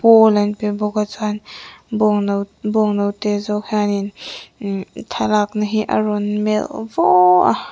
pawl an pe bawk a chuan bawng no note zawk hianin thlalakna hi a rawn melh vaw a.